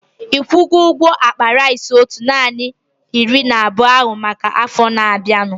Ikwugo ụgwọ akpa rice otu narị na iri abụọ ahu maka afọ na-abianu?